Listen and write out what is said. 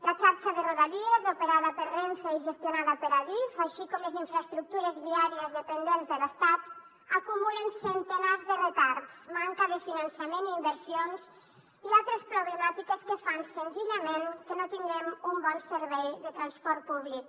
la xarxa de rodalies operada per renfe i gestionada per adif així com les infraestructures viàries dependents de l’estat acumulen centenars de retards manca de finançament i inversions i altres problemàtiques que fan senzillament que no tinguem un bon servei de transport públic